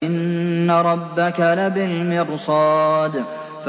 إِنَّ رَبَّكَ لَبِالْمِرْصَادِ